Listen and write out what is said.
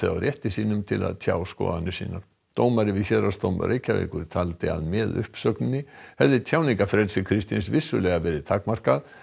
á rétti sínum til að tjá skoðanir sínar dómari við Héraðsdóm Reykjavíkur taldi að með uppsögninni hefði tjáningarfrelsi Kristins vissulega verið takmarkað